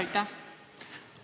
Aitäh!